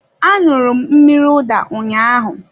A aṅụru m mmiri ụda ụnyaahụ